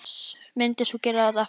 Myndir þú gera þetta aftur?